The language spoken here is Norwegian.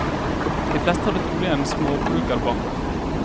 De fleste hadde trolig en småbrukerbakgrunn.